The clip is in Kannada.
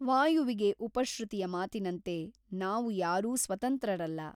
ವಾಯುವಿಗೆ ಉಪಶ್ರುತಿಯ ಮಾತಿನಂತೆ ನಾವು ಯಾರೂ ಸ್ವತಂತ್ರರಲ್ಲ.